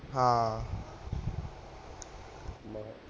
ਹਾਂ